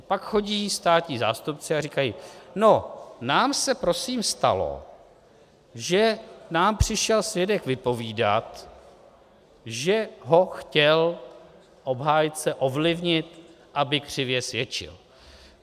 A pak chodí státní zástupci a říkají: No, nám se prosím stalo, že nám přišel svědek vypovídat, že ho chtěl obhájce ovlivnit, aby křivě svědčil.